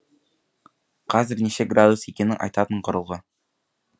қазір неше градус екенін айтатын құрылғы